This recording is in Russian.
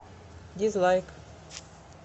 дизлайк